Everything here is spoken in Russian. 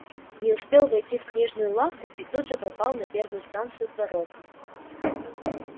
не успел войти в книжную лавку и тут же попал на первую станцию пророка